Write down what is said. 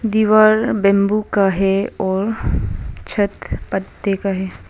दीवार बंबू का है और छत पत्ते का है।